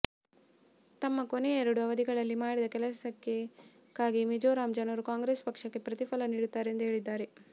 ತಮ್ಮ ಕೊನೆಯ ಎರಡು ಅವಧಿಗಳಲ್ಲಿ ಮಾಡಿದ ಕೆಲಸಕ್ಕಾಗಿ ಮಿಜೋರಾಂ ಜನರು ಕಾಂಗ್ರೆಸ್ ಪಕ್ಷಕ್ಕೆ ಪ್ರತಿಫಲ ನೀಡುತ್ತಾರೆ ಎಂದು ಹೇಳಿದ್ದಾರೆ